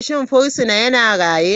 Shin fursuna yana raye?